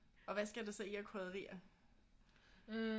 Og hvad skal der så i af krydderier